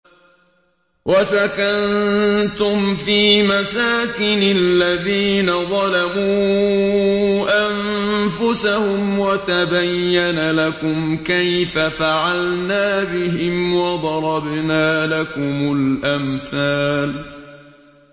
وَسَكَنتُمْ فِي مَسَاكِنِ الَّذِينَ ظَلَمُوا أَنفُسَهُمْ وَتَبَيَّنَ لَكُمْ كَيْفَ فَعَلْنَا بِهِمْ وَضَرَبْنَا لَكُمُ الْأَمْثَالَ